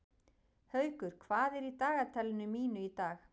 Haukur, hvað er í dagatalinu mínu í dag?